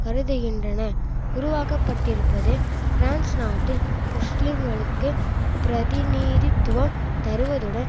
கருதுகின்றன உருவாக்கப்பட்டிருப்பது பிரான்ஸ் நாட்டில் முஸ்லீம்களுக்கு பிரதிநீதித்துவம் தருவதுடன்